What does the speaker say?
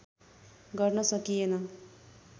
गर्न सकिएन